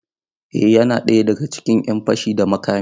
Eh yana ɗaya daga cikin ‘yan fashi da makami.